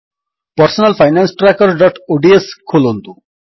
personal finance trackerଓଡିଏସ ଖୋଲନ୍ତୁ